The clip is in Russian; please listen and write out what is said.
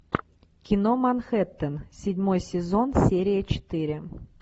кино манхэттен седьмой сезон серия четыре